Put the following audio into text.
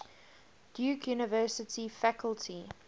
duke university faculty